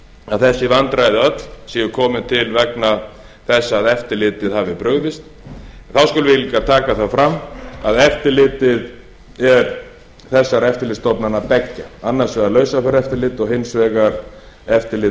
að þessi vandræði öll séu til komin vegna þess að eftirlitið hafi brugðist þá skulum við líka taka það fram að eftirlitið er þessara eftirlitsstofnana beggja annars vegar lausafjáreftirlit og hins vegar eftirlit